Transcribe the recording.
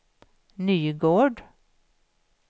Nygård